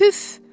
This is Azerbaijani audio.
Püff!